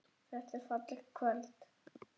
Þetta er fallegt kvöld.